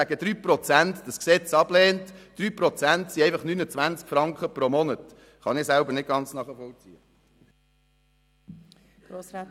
Wenn sie dieses Gesetz nun wegen 3 Prozent ablehnt, kann ich das nicht ganz nachvollziehen.